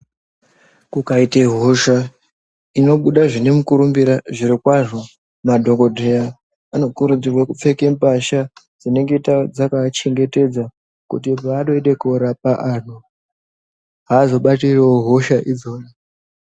Kukaite hosha inobuda zvinomukurumbira zvirokwazvo madhogodheya anokurudzirwe kupfeka mbahla dzinenge dzakaachengetedza. Kuti paanoende korapa antu haazobatirivo hosha idzodzo.